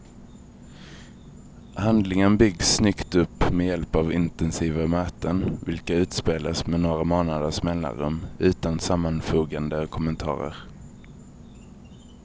Handlingen byggs snyggt upp med hjälp av intensiva möten, vilka utspelas med några månaders mellanrum utan sammanfogande kommentarer.